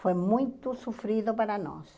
Foi muito sofrido para nós.